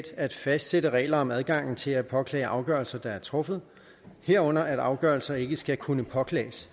at fastsætte regler om adgangen til at påklage afgørelser der er truffet herunder at afgørelser ikke skal kunne påklages